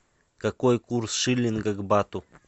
какой курс шиллинга к бату